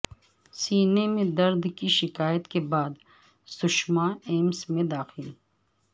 سینے میں درد کی شکایت کے بعد سشما ایمس میں داخل